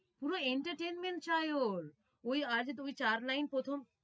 পুরো entertainment চায় ওর। ওই আচ্ছা তুমি চার line প্রথম